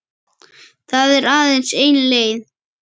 Það er aðeins ein leið